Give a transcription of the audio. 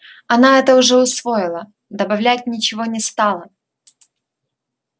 она это уже усвоила добавлять ничего не стала